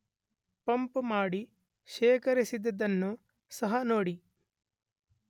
Pump ಮಾಡಿ ಶೇಖರಿಸಿದದ್ದನ್ನು ಸಹ ನೋಡಿ.